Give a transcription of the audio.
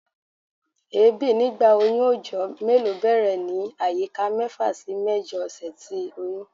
Èébi nigba oyun ojo melo bẹrẹ ni ayika mefa si mẹjọ ọsẹ ti oyun